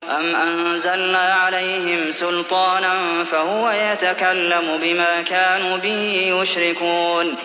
أَمْ أَنزَلْنَا عَلَيْهِمْ سُلْطَانًا فَهُوَ يَتَكَلَّمُ بِمَا كَانُوا بِهِ يُشْرِكُونَ